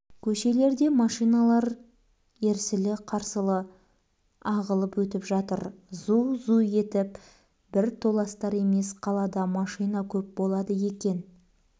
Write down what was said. көшеде машиналар ерсілі-қарсылы ағылып өтіп жатыр зу-зу етіп бір толастар емес қалада машина көп болады екен